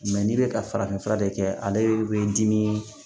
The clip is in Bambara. n'i bɛ ka farafinfura de kɛ ale bɛ dimi